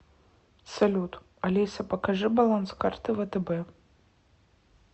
салют алиса покажи баланс карты втб